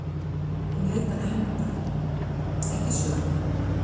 Hún leitar hefndar, ekki sögu.